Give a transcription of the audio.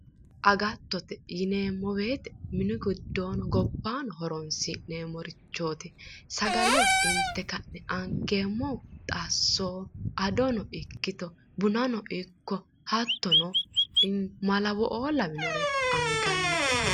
Agattote yineemmo woyiite mine giddoono gobbaano horonsi'neemmorichooti. Sagale inte ka'ne angeemmo xasso adono ikkito bunano ikko hattono malawo'oo lawinore angannite.